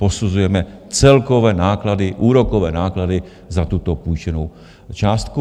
Posuzujeme celkové náklady, úrokové náklady za tuto půjčenou částku.